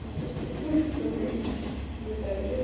Não tenho tempo também, não pego nenhuma.